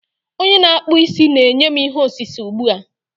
Onye na-akpụ isi na-enye m ihe osise ugbu a.